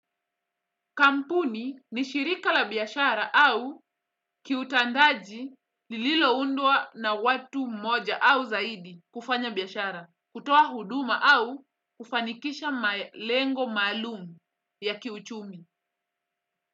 Kampuni ni shirika la biashara au kiutandaji lililo undwa na watu moja au zaidi kufanya biashara, kutoa huduma au kufanikisha lengo maalumu ya kiuchumi.